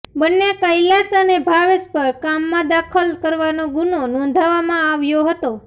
બન્ને કૈલાશ અને ભાવેશ પર કામમાં દખલ કરવાનો ગુનો નોંધવામાં આવ્યો હતો